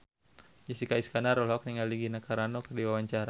Jessica Iskandar olohok ningali Gina Carano keur diwawancara